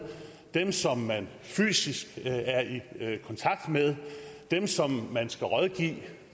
dem som man fysisk er i er i kontakt med dem som man skal rådgive